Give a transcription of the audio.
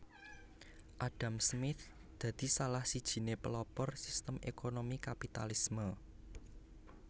Adam Smith dadi salah sijiné pelopor sistem ékonomi Kapitalisme